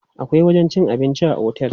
Akwai wajen cin abinci a otel.